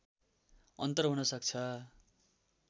अन्तर हुन सक्छ